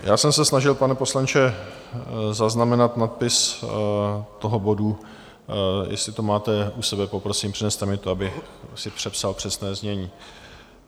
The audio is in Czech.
Já jsem se snažil, pane poslanče, zaznamenat nadpis toho bodu, jestli to máte u sebe, poprosím, přineste mi to, abych si přepsal přesné znění.